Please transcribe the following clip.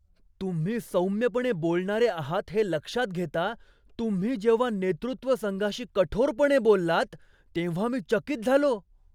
तुम्ही सौम्यपणे बोलणारे आहात हे लक्षात घेता, तुम्ही जेव्हा नेतृत्व संघाशी कठोरपणे बोललात तेव्हा मी चकित झालो.